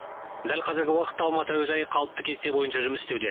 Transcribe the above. дәл қазіргі уақытта алматы әуежайы қалыпты кесте бойынша жұмыс істеуде